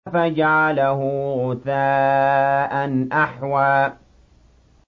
فَجَعَلَهُ غُثَاءً أَحْوَىٰ